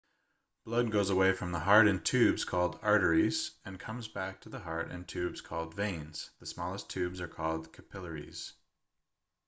blood goes away from the heart in tubes called arteries and comes back to the heart in tubes called veins the smallest tubes are called capillaries